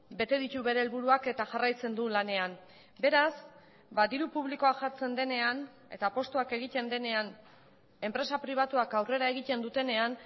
bete ditu bere helburuak eta jarraitzen du lanean beraz diru publikoa jartzen denean eta postuak egiten denean enpresa pribatuak aurrera egiten dutenean